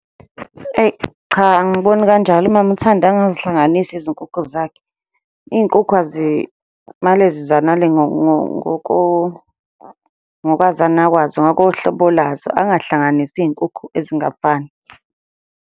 Eyi, cha angiboni kanjalo. Umama uThandi angazihlanganisi izinkukhu zakhe. Iy'nkukhu ngokwazana kwazo, ngoko hlobo lazo, angahlanganisi iy'nkukhu ezingafani.